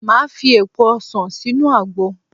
Màá fi èpo ọsàn sínú àgbo.